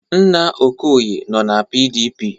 Nna Okoye nọ na PDP.